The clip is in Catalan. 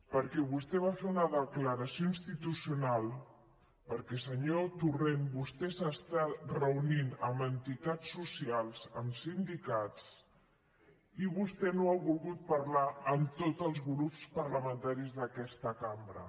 perquè vostè va fer una declaració institucional perquè senyor torrent vostè s’està reunint amb entitats socials amb sindicats i vostè no ha volgut parlar amb tots els grups parlamentaris d’aquesta cambra